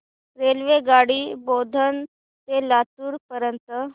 रेल्वेगाडी बोधन ते लातूर पर्यंत